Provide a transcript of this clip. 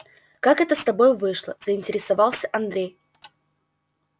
как это с тобой вышло заинтересовался андрей